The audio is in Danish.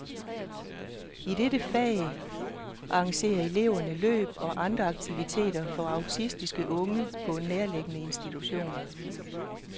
I dette fag arrangerer eleverne løb og andre aktiviteter for autistiske unge på en nærliggende institution.